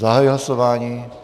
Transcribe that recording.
Zahajuji hlasování.